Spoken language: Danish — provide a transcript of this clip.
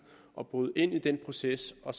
at bryde ind i den proces og